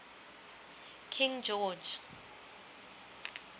king george